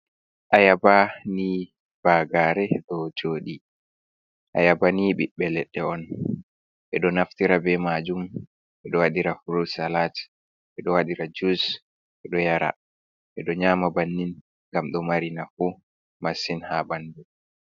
Ayaba ni bagare ɗo jodi, ayaba ni ɓiɓbe leɗɗe on ɓeɗo naftira be majum ɓeɗo waɗira frutsalat, ɓeɗo waɗira jus, ɓeɗo yara, ɓeɗo nyama bannin gam ɗo marinafu massin ha ɓandu.